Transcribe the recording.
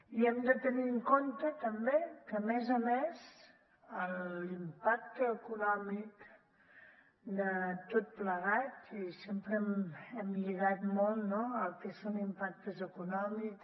i hem de tenir en compte també que a més a més l’impacte econòmic de tot plegat i sempre hem lligat molt no el que són impactes econòmics